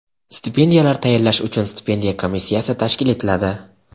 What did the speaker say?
Stipendiyalar tayinlash uchun stipendiya komissiyasi tashkil etiladi.